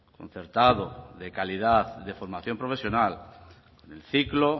concertado de calidad de formación profesional el ciclo